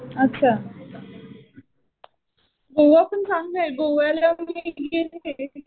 अच्छा. गोवा पण चांगलं आहे. गोव्याला मी गेलेय .